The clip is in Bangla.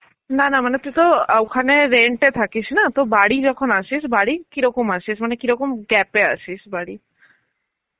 না না মানে তুই তো ওখানে rent এ থাকিস না, তো বাড়ি যখন আসিস বাড়ি কিরকম আসিস মানে কিরকম gap এ আসিস বাড়ি?